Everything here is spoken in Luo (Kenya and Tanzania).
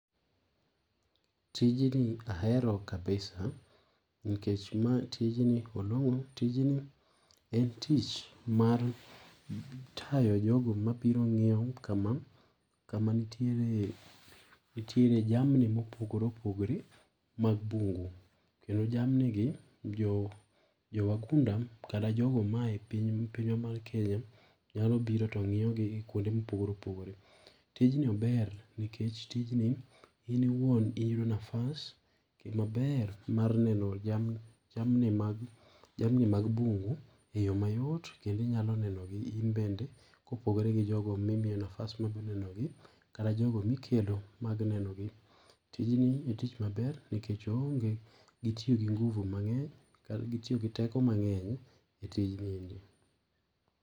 Tijni ahero kabisa nikech ma tijni olong'o, tijni en tich mar tayo jogo mobiro ng'iyo kama kama nitiere nitiere jamni mopogore opogore mag bungu kendo jamni gi jo, jo wagunda kata jogo ma ae piny pinywa mar Kenya nyalo biro to ng'iyogi kuonde mopogore opogore. Tijni ober nikech tijni in iwuon iyudo nafas maber mar neno jamni mag bungu eyoo mayot kendo inyalo neno gi in bende kopogore gi jogo mi miyo nafas mabiro nenogi kata jogo mikelo mag nenogi. Tijni en tich maber nikech oonge gi tiyo gi nguvu mang'eny ka gi tiyo gi teko mang'eny etijni endi.